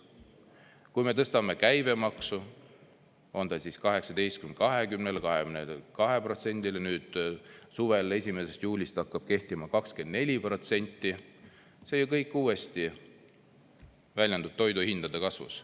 Kui me tõstame käibemaksu, on ta 18–20%-le või 22%-ni, nüüd suvel 1. juulist hakkab kehtima 24%, siis see ju kõik uuesti väljendub toiduhindade kasvus.